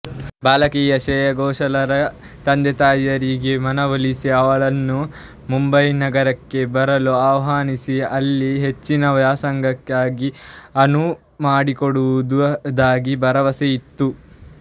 ಬಾಲಕಿ ಶ್ರೇಯಾ ಘೋಷಾಲರ ತಂದೆತಾಯಿಯರಿಗೆ ಮನಒಲಿಸಿ ಅವಳನ್ನು ಮುಂಬೈನಗರಕ್ಕೆ ಬರಲು ಆಹ್ವಾನಿಸಿ ಅಲ್ಲಿ ಹೆಚ್ಚಿನ ವ್ಯಾಸಂಗಕ್ಕೆ ಅನುವುಮಾಡಿಕೊಡುವುದಾಗಿ ಭರವಸೆಇತ್ತರು